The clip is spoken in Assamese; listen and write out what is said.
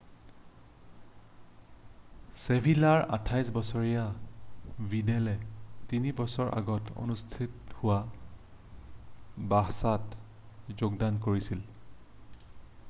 ছেভিলাৰ 28 বছৰীয়া ভিডেলে 3 বছৰৰ আগতে অনুষ্ঠিত হোৱা বাৰ্ছাত যোগদান কৰিছিল